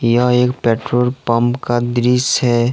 यह एक petrol pump का दृश्य है।